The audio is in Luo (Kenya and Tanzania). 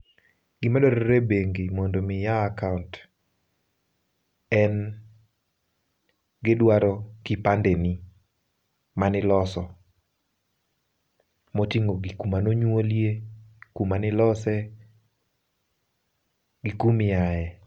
Gima dwarore e bengi mondo mi iyaw akaont, en gidwaro kipandeni maniloso. Moting'o gik manonyuolie, kuma nilose, gi kumiae.